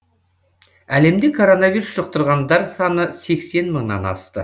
әлемде коронавирус жұқтырғандар саны сексен мыңнан асты